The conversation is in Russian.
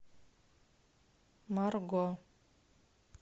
марго